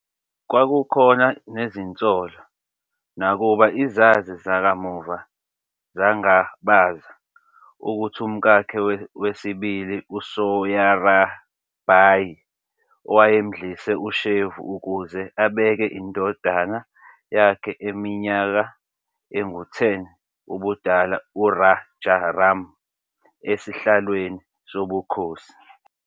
Kwakukhona nezinsolo, nakuba izazi zakamuva zangabaza, ukuthi umkakhe wesibili uSoyarabai wayemdlise ushevu ukuze abeke indodana yakhe eneminyaka engu-10 ubudala uRajaram esihlalweni sobukhosi.